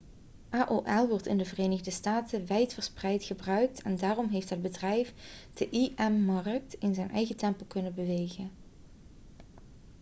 aol wordt in de verenigde staten wijdverspreid gebruikt en daarom heeft het bedrijf de im-markt in zijn eigen tempo kunnen bewegen